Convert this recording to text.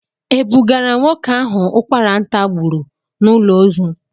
E bugara nwoke ahụ ụkwara ntà gburu n'ụlọ ozu.